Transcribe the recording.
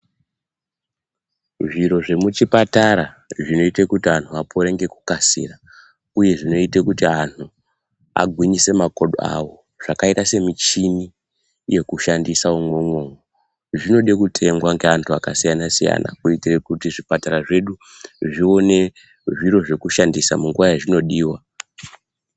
Zviro zvemuchipatara zvinoite kuti anhu apore ngekukasira, uye zvinoite kuti anhu agwinyise makodo awo zvakaita semichini yekushandisa iwowo zvinode kutengwa neantu akasiyana siyana kuitire kuti zvipatara zvedu zvione zviro zvekushandisa munguwa yazvinodiwa.